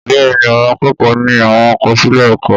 Bẹ́ẹ̀ni, àwọn akẹ́kọ̀ọ́ ní àwọn àkọsílẹ̀ ẹ̀kọ́